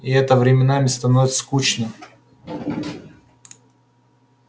и это временами становится скучным